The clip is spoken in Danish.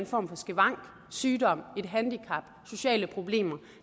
form for skavank sygdom et handicap sociale problemer